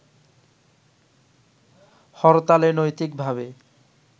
হরতালে নৈতিকভাবে